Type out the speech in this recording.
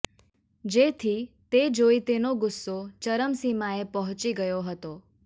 જેથી તે જોઇ તેનો ગુસ્સો ચરમસીમાએ પહોંચી ગયો હતો